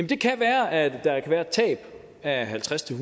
kan være at der kan være et tab af halvtreds til